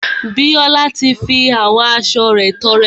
Bíọ́lá ti fi àwọn aṣo rẹ̀ tọrẹ.